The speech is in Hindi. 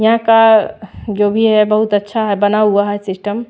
यहां का जो भी है बहुत अच्छा है बना हुआ है सिस्टम --